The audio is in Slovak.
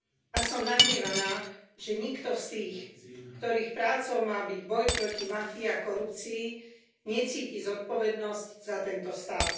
A som nahnevaná, že nikto z tých, ktorých prácou má byť boj proti mafii a korupcii, necíti zodpovednosť za tento stav.